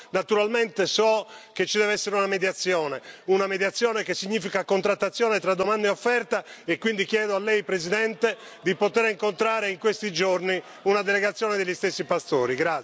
Naturalmente so che ci deve essere una mediazione, una mediazione che significa contrattazione tra domanda e offerta, e quindi chiedo a Lei, Presidente, di poter incontrare in questi giorni una delegazione degli stessi pastori.